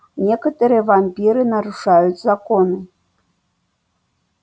некоторые вампиры нарушают законы